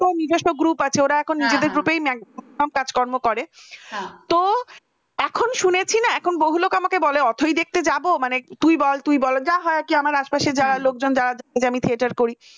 ওর নিজস্ব group আছে ওরা এখন নিজেদের group নেন কাজকর্ম করে তো এখন শুনেছি এখন বহু লোক আমাকে বলে অথৈ দেখতে যাব মানে তুই বল তুই বল যা হয় কি আমার আশেপাশে যারা লোকজন যারা আমি theater করি ।